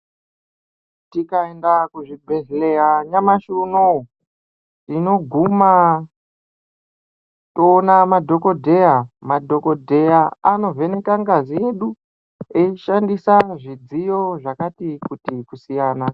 Tikaenda kuzvibhedhleya nyamashi unowu tinoguma toona madhogodheya. Madhogodheya anovheneka ngazi yedu eishandisa zvidziyo zvakati kuti kusiyana.